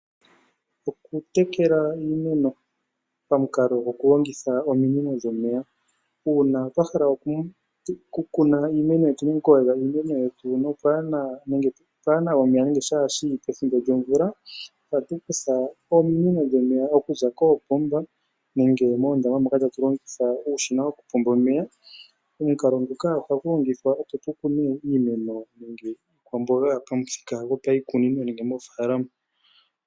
Okutekela iimeno pamukalo gwokulongitha ominino dhomeya Uuna wahala oku kuna iimeno kashishi pethimbo lyomvula ohatu kutha ominino okuza koopomba nenge moondama moka tatu longitha uushima woku pomba omeya. Omukalo nguka ohagu lingithwa opo tu kune iimeno nenge omboga yo pamuthika gopiikunino nenge moofalama .